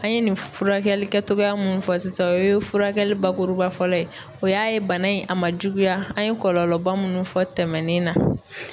An ye nin furakɛli kɛtogoya mun fɔ sisan o ye furakɛli bakuruba fɔlɔ ye. O y'a ye bana in a ma juguya an ye kɔlɔlɔba munnu fɔ tɛmɛnen na.